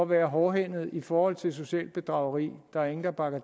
være hårdhændet i forhold til socialt bedrageri der er ingen der bakker